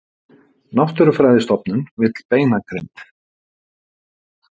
Náttúrufræðistofnun vill beinagrind